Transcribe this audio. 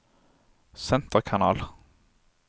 senterkanal